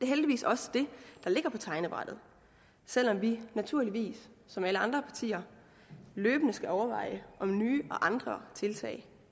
heldigvis også det der ligger på tegnebrættet selv om vi naturligvis som alle andre partier løbende skal overveje om nye og andre tiltag